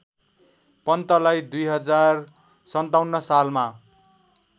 पन्तलाई २०५७ सालमा